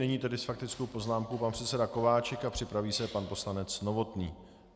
Nyní tedy s faktickou poznámkou pan předseda Kováčik a připraví se pan poslanec Novotný.